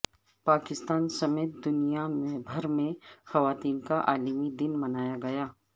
پاکستان سمیت دنیا بھر میں خواتین کا عالمی دن منایا گیا